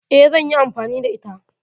Eh, zanyi amfani da ita